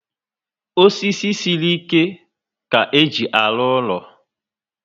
Osisi siri ike ka éjị arụ úlọ